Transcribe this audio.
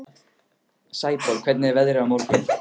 Sæborg, hvernig er veðrið á morgun?